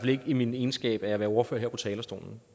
ikke i min egenskab af at være ordfører her på talerstolen